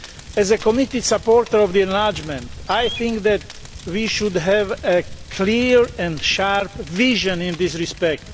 As a committed supporter of enlargement, I think that we should have a clear and sharp vision in this respect.